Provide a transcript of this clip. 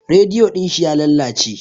Rediyo din shi ya lalace.